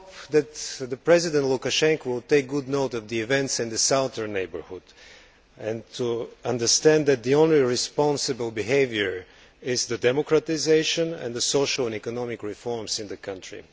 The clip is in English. I hope that President Lukashenko will take good note of the events in the southern neighbourhood and understand that the only responsible behaviour is democratisation and the social and economic reforms in the country.